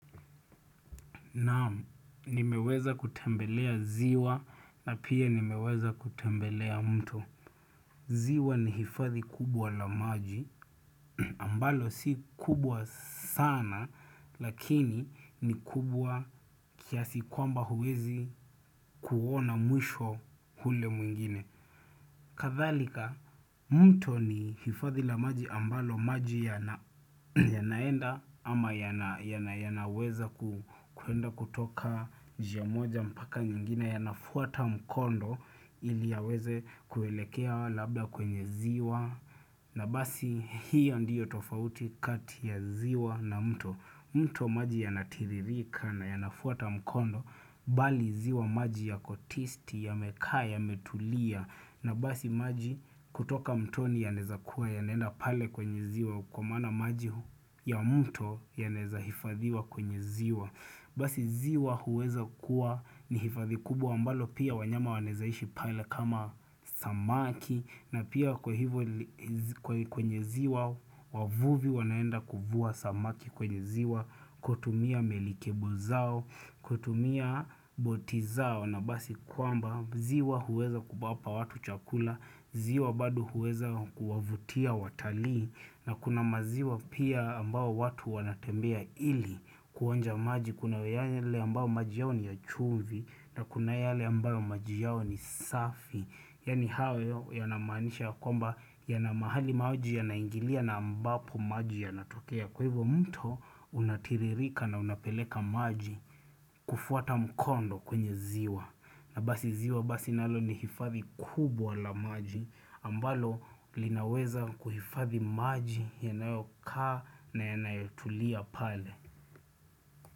Naam, nimeweza kutembelea ziwa na pia nimeweza kutembelea mto ziwa ni hifathi kubwa la maji ambalo si kubwa sana Lakini ni kubwa kiasi kwamba huwezi kuona mwisho hule mwingine Kathalika, mto ni hifathi la maji ambalo maji yanaenda ama yanaweza kuenda kutoka jiamoja mpaka nyingine yanafuata mkondo ili yaweze kuelekea labda kwenye ziwa na basi hiyo ndiyo tofauti kati ya ziwa na mto mto maji yanatiririka na yanafuata mkondo bali ziwa maji yakot isti yamekaya yametulia na basi maji kutoka mtoni yanezakuwa ya nenda pale kwenye ziwa Kwa maana maji ya mto yaneza hifadhiwa kwenye ziwa Basi ziwa huweza kuwa ni hifadhi kubwa ambalo pia wanyama wanezaishi pale kama samaki na pia kwa hivyo kwenye ziwa wavuvi wanaenda kufua samaki kwenye ziwa kutumia melikebo zao, kutumia boti zao na basi kwamba ziwa huweza kupapa watu chakula ziwa badu huweza kuwavutia watalii na kuna maziwa pia ambao watu wanatembea ili kuonja maji Kuna yale ambao maji yao ni ya chuvi na kuna yale ambao maji yao ni safi Yani hawe yanamanisha kwamba ya na mahali maji ya naingilia na ambapo maji ya natokea Kwa hivyo mto unatiririka na unapeleka maji kufuata mkondo kwenye ziwa na basi ziwa basi nalo ni hifathi kubwa la maji ambalo linaweza kuhifathi maji yanayoka na yanayotulia pale.